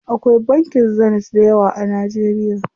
Akwai bankin Zenith dayawa a Najeriya.